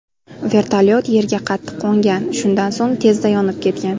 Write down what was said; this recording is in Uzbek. Vertolyot yerga qattiq qo‘ngan, shundan so‘ng tezda yonib ketgan.